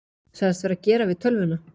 Sagðist vera að gera við tölvuna